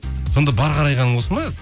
сонда бар қарайғаның осы ма